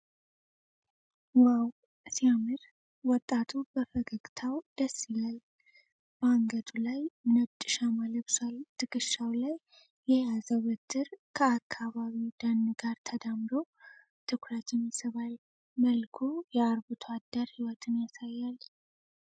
ዋው፣ ሲያምር! ወጣቱ በፈገግታው ደስ ይላል። በአንገቱ ላይ ነጭ ሻማ ለብሷል። ትከሻው ላይ የያዘው በትር ከአካባቢው ደን ጋር ተደምሮ ትኩረትን ይስባል። መልኩ የአርብቶ አደር ሕይወትን ያሳያል።